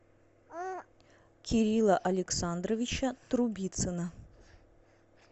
кирилла александровича трубицына